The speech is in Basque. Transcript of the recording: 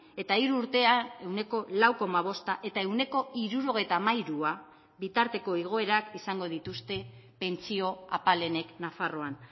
eta hiru urtean ehuneko lau koma bosta eta ehuneko hirurogeita hamairua bitarteko igoerak izango dituzte pentsio apalenek nafarroan